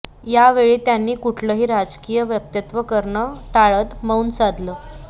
यावेळी त्यांनी कुठलंही राजकीय वक्तव्य करणं टाळत मौन सांधलं